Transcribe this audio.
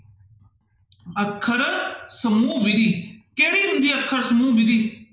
ਅੱਖਰ ਸਮੂਹ ਵਿੱਧੀ, ਕਿਹੜੀ ਹੁੰਦੀ ਹੈ ਅੱਖਰ ਸਮੂਹ ਵਿੱਧੀ?